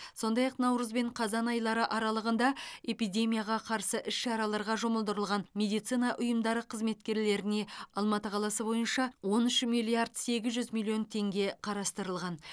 сондай ақ наурыз бен қазан айлары аралығында эпидемияға қарсы іс шараларға жұмылдырылған медицина ұйымдары қызметкерлеріне алматы қаласы бойынша он үш миллиард сегіз жүз миллион теңге қарастырылған